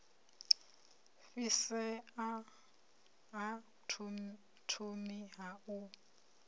fhisea ha thomi ha u